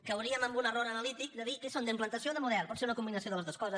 cauríem en un error analític de dir què són d’implantació o de model pot ser una combinació de les dues coses